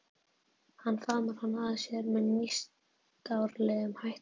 Hann faðmar hana að sér með nýstárlegum hætti.